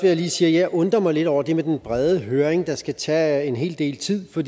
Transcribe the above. jeg lige sige at jeg undrer mig lidt over det med den brede høring der skal tage en hel del tid for